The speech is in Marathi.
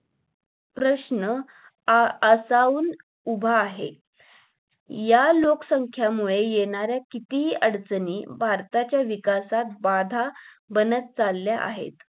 प्रश्न आसवुन उभा आहे या लोकसंख्येमुळे येणारे किती अडचणी भारताच्या विकासात बाधा बनत चालल्या आहेत